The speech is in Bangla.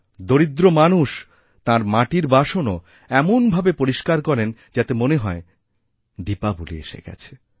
দরিদ্র মানুষ তাঁর মাটিরবাসনও এমনভাবে পরিষ্কার করেন যাতে মনে হয় দীপাবলী এসে গেছে